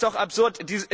Das ist doch absurd!